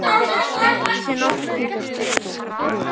Dettur þér nokkuð í hug, elskan?